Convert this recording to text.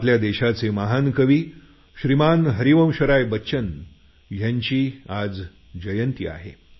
आपल्या देशाचे महान कवी श्रीमान हरिवंशराय बच्चन यांची आज जयंती आहे